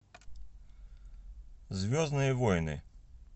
звездные войны